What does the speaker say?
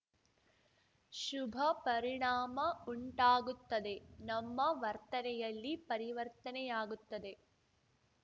ಶುಭ ಪರಿಣಾಮ ಉಂಟಾಗುತ್ತದೆ ನಮ್ಮ ವರ್ತನೆಯಲ್ಲಿ ಪರಿವರ್ತನೆಯಾಗುತ್ತದೆ